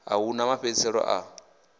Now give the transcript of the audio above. a hu na mafhedziselo a